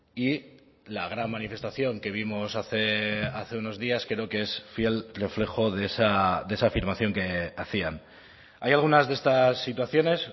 y la gran manifestación que vimos hace unos días creo que es fiel reflejo de esa afirmación que hacían hay algunas de estas situaciones